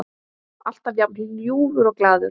Alltaf jafn ljúfur og glaður.